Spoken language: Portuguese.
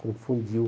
Confundiu.